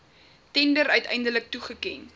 tender uiteindelik toegeken